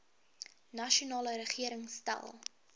nasionale regering stel